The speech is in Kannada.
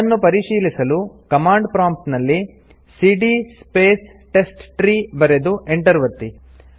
ಅದನ್ನು ಪರಿಶೀಲಿಸಲು ಕಮಾಂಡ್ ಪ್ರಾಂಪ್ಟ್ ನಲ್ಲಿ ಸಿಡಿಯ ಸ್ಪೇಸ್ ಟೆಸ್ಟ್ಟ್ರೀ ಬರೆದು Enter ಒತ್ತಿ